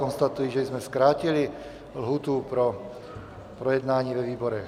Konstatuji, že jsme zkrátili lhůtu pro projednání ve výborech.